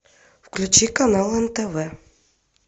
включи канал нтв